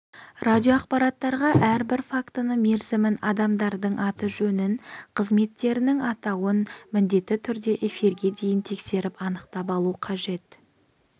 радиоақпараттарға әрбір фактіні мерзімін адамдардың аты жөнін қызметтерінің атауын міндетті түрде эфирге дейін тексеріп анықтап алу қажет